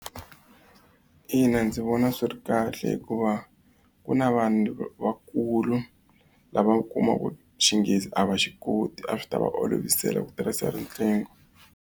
Ina ndzi vona swi ri kahle hikuva ku na vanhu vakulu lava kumaka Xinghezi a va xi koti a swi ta va olovisela ku tirhisa riqingho.